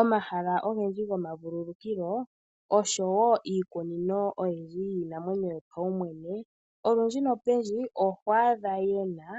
Omahala ogendji gomavululukilo oshowo iikunino oyindji yiinamwenyo yopaumwene, olundji nopendji oho adha yena